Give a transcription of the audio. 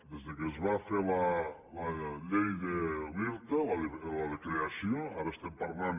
des que es va fer la llei de l’irta la de creació ara estem parlant